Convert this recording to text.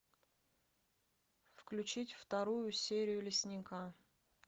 включить вторую серию лесника